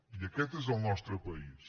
i aquest és el nostre país